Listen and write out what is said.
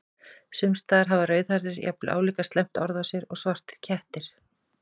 Sums staðar hafa rauðhærðir jafnvel álíka slæmt orð á sér og svartir kettir.